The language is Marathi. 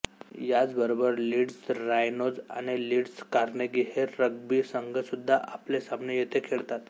याचबरोबर लीड्स ऱ्हायनोज आणि लीड्स कार्नेगी हे रग्बी संघ सुद्धा आपले सामने येथे खेळतात